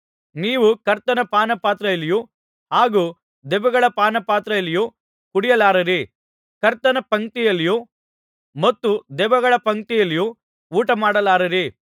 ನೀವು ಕರ್ತನ ಪಾನಪಾತ್ರೆಯಲ್ಲಿಯೂ ಹಾಗೂ ದೆವ್ವಗಳ ಪಾನಪಾತ್ರೆಯಲ್ಲಿಯೂ ಕುಡಿಯಲಾರಿರಿ ಕರ್ತನ ಪಂಕ್ತಿಯಲ್ಲಿಯೂ ಮತ್ತು ದೆವ್ವಗಳ ಪಂಕ್ತಿಯಲ್ಲಿಯೂ ಊಟಮಾಡಲಾರಿರಿ